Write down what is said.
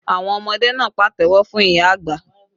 Àwọn ọmọdé náà pàtẹ́wọ́ fún ìyá àgbà